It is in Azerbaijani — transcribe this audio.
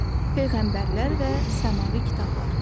Peyğəmbərlər və səmavi kitablar.